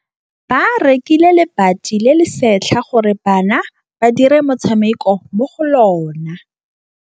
Ba rekile lebati le le setlha gore bana ba dire motshameko mo go lona.